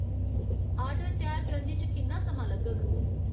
order त्यार करने च किन्ना समां लग्गग